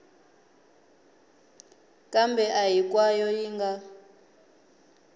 kambe a hinkwayo yi nga